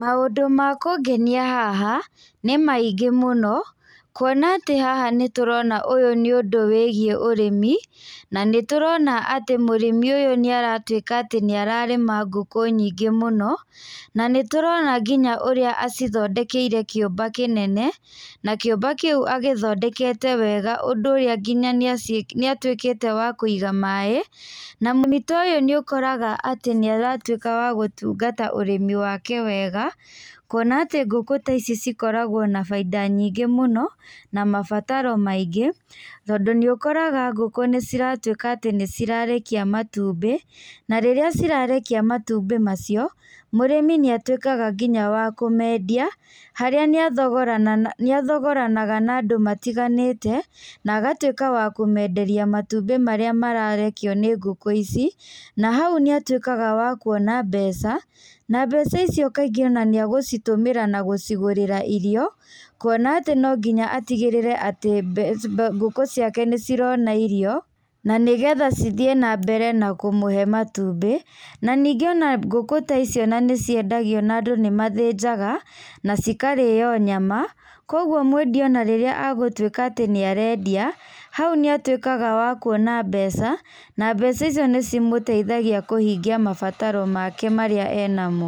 Maũndũ makũngenia haha nĩ maingĩ mũno, kuona atĩ haha ũyũ nĩ ũndũ wĩigiĩ ũrĩmi, na nĩ tũrona atĩ mũrĩmi ũyũ nĩ aratuĩka nĩ ararĩma ngũkũ nyingĩ mũno, na nĩ tũrona nginya ũrĩa acithondekeire kĩũmba kĩnene, na kĩũmba kĩu agĩthondekete wega ũndũ ũrĩa nginya nĩ atuĩkĩte wa kũiga maaĩ. Na mũrĩmi ta ũyũ nĩ ũkoraga nĩ aratuĩka wa gũtungata ũrĩmi wake wega, kuona atĩ ngũkũ ta ici cikũragwo na bainda nyingĩ mũno na mabataro maingĩ, tondũ nĩ ũkoraga ngũkũ ciratuĩka atĩ nĩ cirekagia matumbĩ, na rĩrĩ cirarekia matumbĩ macio mũrĩmi nĩ atuĩkaga nginya wa kũmendia, harĩa nĩ athogoranaga na andũ matiganĩte na agatuĩka wa kũmenderia matumbĩ marĩa mararekio nĩ ngũkũ ici, na hau nĩ atuĩkaga wa kũona mbeca, na mbeca icio kaingĩ nĩ agũcitũmĩra na gũcigũrĩra irio, kũona atĩ no nginya atigĩrĩre atĩ ngũkũ ciake nĩ cirona irio, na nĩ getha cithiĩ na mbere na kũmũhe matumbĩ. Na nyingĩ ona ngũkũ ta icio ona nĩ ciendagio na andũ nĩ mathĩnjaga, na cikarĩo nyama, koguo mwendia ona rĩrĩa agũtuĩka atĩ nĩ arendia, hau nĩ atuĩkaga wa kuona mbeca, na mbeca icio nĩ cimũteithagia kũhingia mabataro make marĩa e namo.